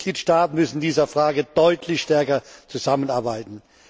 Die Mitgliedstaaten müssen in dieser Frage deutlich stärker zusammenarbeiten.